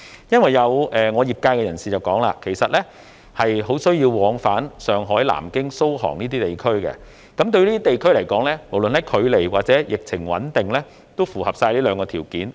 因為我的業界裏有人指出，其實他們很需要往返上海、南京、蘇杭等地，而這些地方亦符合距離和疫情穩定這兩個條件。